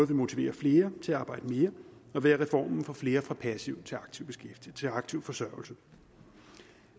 vil motivere flere til at arbejde mere og ved at reformen får flere fra passiv til aktiv forsørgelse